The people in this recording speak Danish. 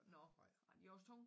Nå ej de også tunge